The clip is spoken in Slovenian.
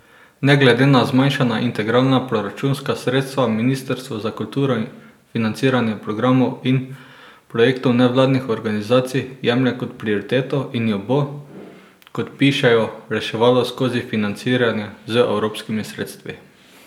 Ne glede na zmanjšana integralna proračunska sredstva ministrstvo za kulturo financiranje programov in projektov nevladnih organizacij jemlje kot prioriteto in jo bo, kot pišejo, reševalo skozi financiranje z evropskimi sredstvi.